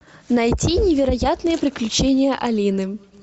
найти невероятные приключения алины